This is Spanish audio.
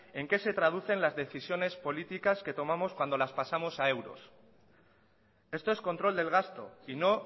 en qué se traducen las decisiones políticas que tomamos cuando las pasamos a euros esto es control del gasto y no